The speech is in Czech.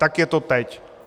Tak je to teď.